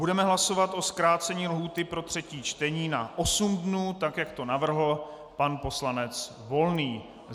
Budeme hlasovat o zkrácení lhůty pro třetí čtení na osm dnů, tak jak to navrhl pan poslanec Volný.